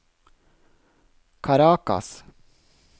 Caracas